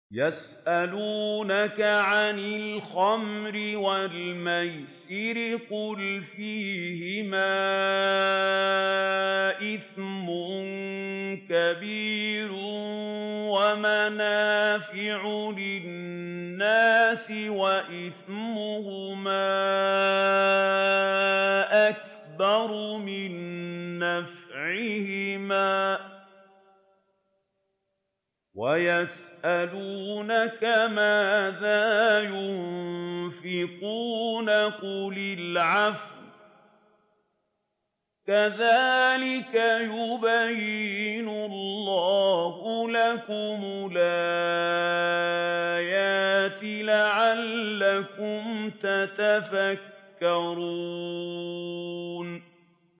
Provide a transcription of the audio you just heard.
۞ يَسْأَلُونَكَ عَنِ الْخَمْرِ وَالْمَيْسِرِ ۖ قُلْ فِيهِمَا إِثْمٌ كَبِيرٌ وَمَنَافِعُ لِلنَّاسِ وَإِثْمُهُمَا أَكْبَرُ مِن نَّفْعِهِمَا ۗ وَيَسْأَلُونَكَ مَاذَا يُنفِقُونَ قُلِ الْعَفْوَ ۗ كَذَٰلِكَ يُبَيِّنُ اللَّهُ لَكُمُ الْآيَاتِ لَعَلَّكُمْ تَتَفَكَّرُونَ